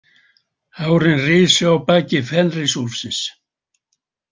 Hárin risu á baki Fenrisúlfsins.